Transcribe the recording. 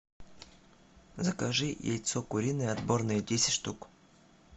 закажи яйцо куриное отборное десять штук